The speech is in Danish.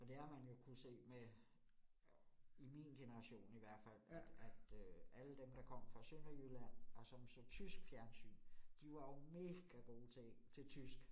Og det har man jo kunnet se med i min generation i hvert fald, at at øh alle dem, der kom fra Sønderjylland og som så tysk fjernsyn, de var jo mega gode til tysk